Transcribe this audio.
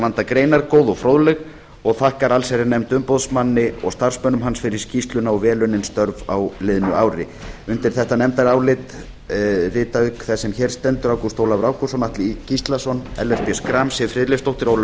vanda greinargóð og fróðleg og þakkar allsherjarnefnd umboðsmanni og starfsmönnum hans fyrir skýrsluna og vel unnin störf á liðnu ári undir þetta nefndarálit rita auk þess sem hér stendur ágúst ólafur ágústsson atli gíslason ellert b schram siv friðleifsdóttir ólöf